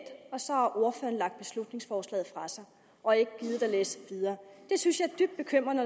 og så har ordføreren lagt beslutningsforslaget fra sig og ikke gidet at læse videre det synes jeg er dybt bekymrende